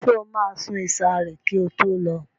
Ṣé o máa sun ìsàré kí o tó lọ?